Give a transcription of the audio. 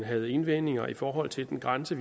havde indvendinger i forhold til den grænse